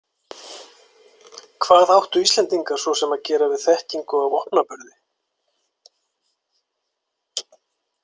Og hvað áttu Íslendingar svo sem að gera við þekkingu á vopnaburði?